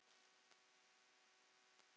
Líkami og sál